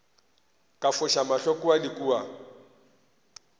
ka foša mahlo kua le